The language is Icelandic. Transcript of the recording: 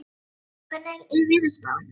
Veiga, hvernig er veðurspáin?